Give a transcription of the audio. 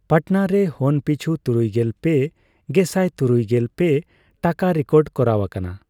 ᱯᱟᱴᱱᱟ ᱨᱮ ᱦᱚᱱᱯᱤᱪᱷᱩ ᱛᱩᱨᱩᱭᱜᱮᱞ ᱯᱮ ᱜᱮᱥᱟᱭ ᱛᱩᱨᱩᱭᱜᱮᱞ ᱯᱮ ᱴᱟᱠᱟ ᱨᱮᱠᱚᱰ ᱠᱚᱨᱟᱣ ᱟᱠᱟᱱᱟ ᱾